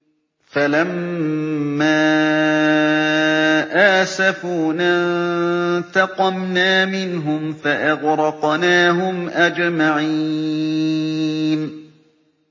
فَلَمَّا آسَفُونَا انتَقَمْنَا مِنْهُمْ فَأَغْرَقْنَاهُمْ أَجْمَعِينَ